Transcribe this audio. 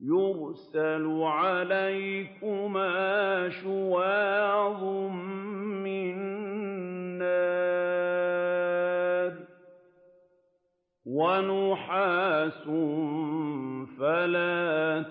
يُرْسَلُ عَلَيْكُمَا شُوَاظٌ مِّن نَّارٍ وَنُحَاسٌ فَلَا